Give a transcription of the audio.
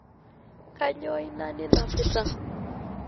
kanyoo ina ninapita